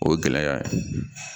O ye gɛlɛya ye